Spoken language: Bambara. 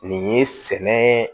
Nin ye sɛnɛ